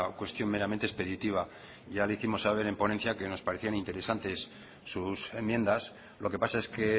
cuestión meramente expeditiva ya lo hicimos saber en ponencia que nos parecían interesantes sus enmiendas lo que pasa es que